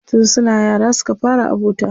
Tun suna yara suka fara abota.